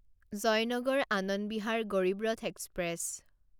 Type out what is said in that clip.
Joynagar Anand Vihar Garib Rath express